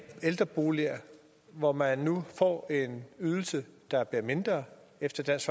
ældreboliger hvor man nu får en ydelse der bliver mindre efter dansk